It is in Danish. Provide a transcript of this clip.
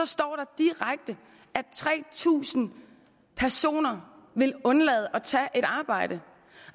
står der direkte at tre tusind personer vil undlade at tage et arbejde